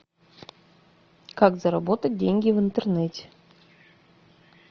как заработать деньги в интернете